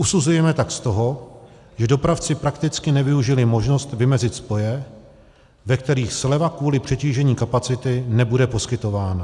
Usuzujeme tak z toho, že dopravci prakticky nevyužili možnost vymezit spoje, ve kterých sleva kvůli přetížení kapacity nebude poskytována.